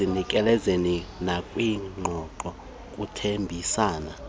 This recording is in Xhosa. ekuzinikezeleni nakwiqondo lokuthembisa